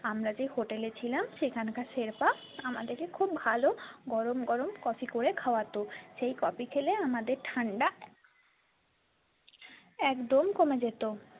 আমরা যে hotel এ ছিলাম সেখানকার শেরপা আমাদের কে খুব ভালো গরম গরম coffee করে খাওয়াতো সেই coffee খেলে আমাদের ঠান্ডা একদম কমে যেত।